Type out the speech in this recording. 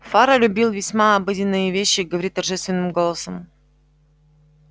фара любил весьма обыденные вещи говорить торжественным голосом